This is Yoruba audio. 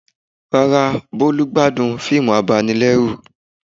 Rárá, Bólú gbádùn fíìmù abanilẹ́rù